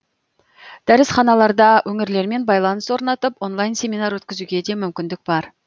дәрісханаларда өңірлермен байланыс орнатып онлайн семинар өткізуге де мүмкіндік бар